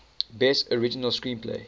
best original screenplay